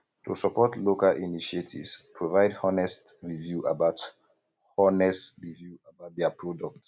to support local initiatives provide honest review about honest review about their product